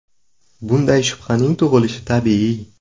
Bunday shubhaning tug‘ilishi tabiiy.